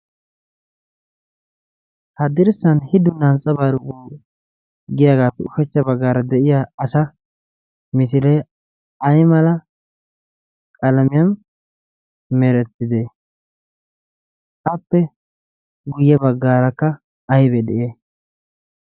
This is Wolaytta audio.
Haddirssan hidu na antsabaarqu giyaagaappe ushachcha baggaara de7iya asa misilee ay mala qalamiyan merettidde? appe guyye baggaarakka aybbee de7iyay?